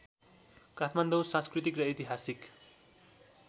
काठमाडौँ सांस्कृतिक र ऐतिहासिक